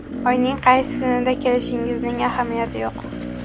Oyning qaysi kunida kelishingizning ahamiyati yo‘q.